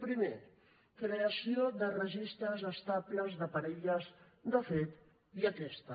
primer creació de registres de parelles estables de fet i aquesta